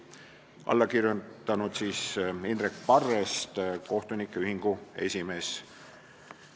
Arvamusele on alla kirjutanud Indrek Parrest, kohtunike ühingu esimees.